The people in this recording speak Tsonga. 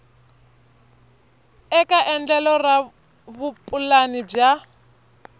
eka endlelo ra vupulani bya